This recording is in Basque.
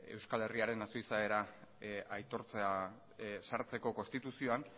euskal herriaren nazio izaera aitortzea sartzeko konstituzioan